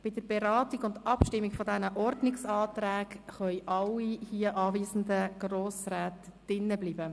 Bei der Beratung dieser Anträge und der anschliessenden Abstimmung können alle anwesenden Grossräte hier im Saal bleiben.